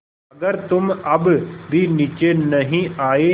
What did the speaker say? अगर तुम अब भी नीचे नहीं आये